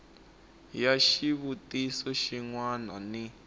ya xivutiso xin wana ni